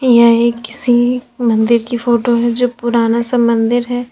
यह एक किसी मंदिर की फोटो है जो पुराना सा मंदिर है।